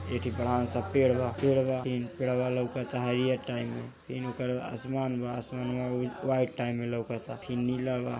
एक बड़ा सा पेड़ बा। पेडवा लौकत बा टाइम इनमा आसमान बा वाइट टाइम मा लउकत बा फिर नीला बा।